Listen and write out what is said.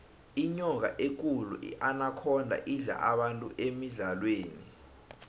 inyoka ekulu inakhonda idla abantu emidlalweni